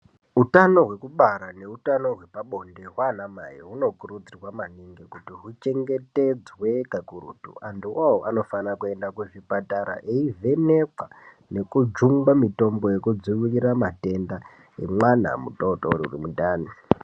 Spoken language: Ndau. Utano hwekubara neutano hwepabonde hwanamai hunokurudzirwa maningi kuti huchengetedzwe kakurutu. Antuo anofanire kuende kuzvipatara eivhenekwa nekujungwa mitombo yekudzivirira matenda emwana mutotori uru mundani.